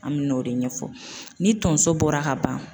An bɛ n'o de ɲɛfɔ ni tonso bɔra ka ban.